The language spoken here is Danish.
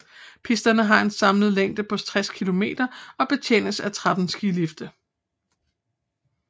Pisterne har en samlet længde på 60 km og de betjenes af 13 skilifte